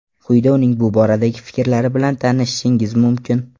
Quyida uning bu boradagi fikrlari bilan tanishishingiz mumkin.